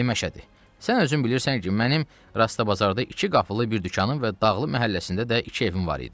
"Ay Məşədi, sən özün bilirsən ki, mənim Rast bazarda iki qapılı bir dükanım və Dağlı məhəlləsində də iki evim var idi."